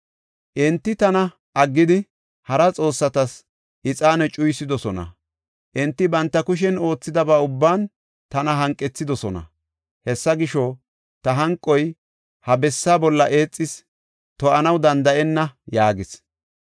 Enti tana aggidi, hara xoossatas ixaane cuyisidosona; enti banta kushen oothidaba ubban tana hanqethidosona. Hessa gisho, ta hanqoy ha bessaa bolla eexis; to7anaw danda7enna’ yaagees.